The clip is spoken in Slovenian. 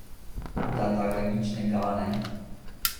Da da ga nič ne gane?